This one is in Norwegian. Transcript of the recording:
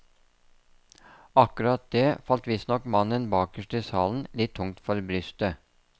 Akkurat det falt visstnok mannen bakerst i salen litt tungt for brystet.